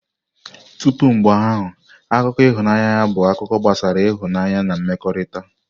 Tupu mgbe ahụ, akụkọ ịhụnanya bụ akụkọ gbasara ịhụnanya na mmekọrịta.